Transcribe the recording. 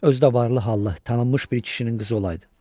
Özü də varlı-hallı, tanınmış bir kişinin qızı olaydı.